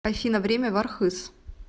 афина время в архыз